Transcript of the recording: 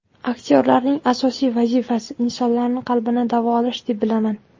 Aktyorlarning asosiy vazifasi insonlarni qalbini davolash deb bilaman.